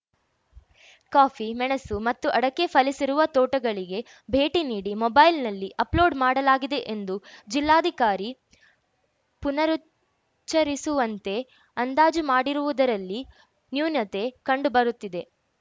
coffee ಮೆಣಸು ಮತ್ತು ಅಡಕೆ ಫಸಲಿರುವ ತೋಟಗಳಿಗೆ ಭೇಟಿ ನೀಡಿ ಮೊಬೈಲ್‌ನಲ್ಲಿ ಅಪ್‌ಲೋಡ್‌ ಮಾಡಲಾಗಿದೆ ಎಂದು ಜಿಲ್ಲಾಧಿಕಾರಿ ಪುನರುಚ್ಚರಿಸುವಂತೆ ಅಂದಾಜು ಮಾಡಿರುವುದರಲ್ಲಿ ನ್ಯೂನ್ಯತೆ ಕಂಡು ಬರುತ್ತಿದೆ